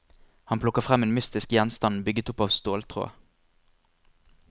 Han plukker frem en mystisk gjenstand bygget opp av ståltråd.